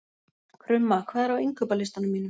Krumma, hvað er á innkaupalistanum mínum?